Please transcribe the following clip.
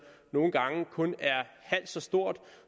nogle gange kun er halvt så stort